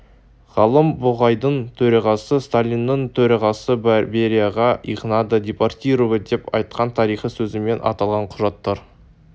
ғалым бугайдың төрағасы сталиннің төрағасы берияға их надо депортировать деп айтқан тарихи сөзімен аталған құжаттар